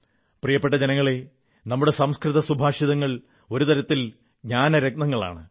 പ്രിയപ്പെട്ട ജനങ്ങളേ നമ്മുടെ സംസ്കൃത സുഭാഷിതങ്ങൾ ഒരു തരത്തിൽ ജ്ഞാനരത്നങ്ങളാണ്